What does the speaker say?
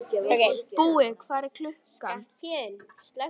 Búi, hvað er klukkan?